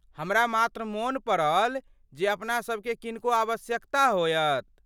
हमरा मात्र मोन पड़ल जे अपना सभकेँ किनको आवश्यकता होयत।